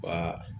Wa